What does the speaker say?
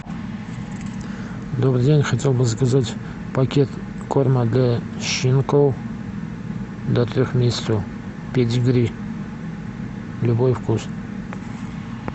добрый день хотел бы заказать пакет корма для щенков до трех месяцев педигри любой вкус